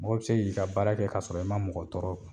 Mɔgɔ bɛ se k'i ka baara kɛ kasɔrɔ i ma mɔgɔ tɔɔrɔ